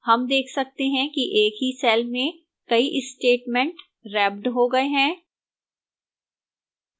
हम देख सकते हैं कि एक ही cell में कई statements wrapped हो गए हैं